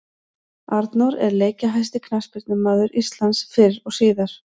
Arnór er leikjahæsti knattspyrnumaður Íslands fyrr og síðar.